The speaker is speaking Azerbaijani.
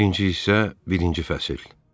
Birinci hissə, birinci fəsil.